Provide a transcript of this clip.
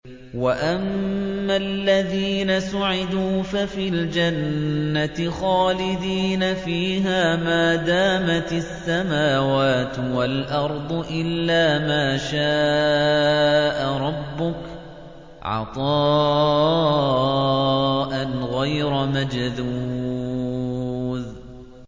۞ وَأَمَّا الَّذِينَ سُعِدُوا فَفِي الْجَنَّةِ خَالِدِينَ فِيهَا مَا دَامَتِ السَّمَاوَاتُ وَالْأَرْضُ إِلَّا مَا شَاءَ رَبُّكَ ۖ عَطَاءً غَيْرَ مَجْذُوذٍ